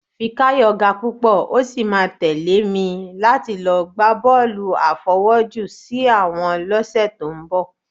Fikáyọ̀ ga púpọ̀, ó sì máa tẹ̀lé mi láti lọ gbá bọ́ọ̀lù àfọwọ́jù-sí-àwọ̀n lọ́sẹ̀ tó ń bọ̀